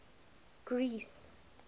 greece